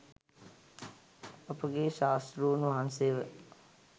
අප ගේ ශාස්තෘන් වහන්සේව